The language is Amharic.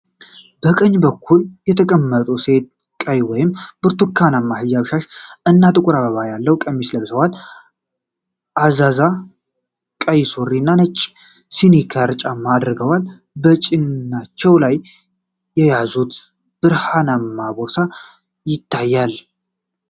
በቀኝ በኩል የተቀመጡት ሴት ቀይ ወይም ብርቱካናማ ሂጃብ (ሻሽ) እና ጥቁር አበባ ያለው ቀሚስ ለብሰዋል። ፈዛዛ ቀይ ሱሪ እና ነጭ ስኒከር ጫማ አድርገዋል። በጭናቸው ላይ የያዙት ብርሃናማ ቦርሳ ይታያል።